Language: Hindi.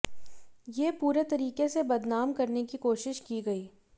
ये पूरे तरीके से बदनाम करने की कोशिश की गई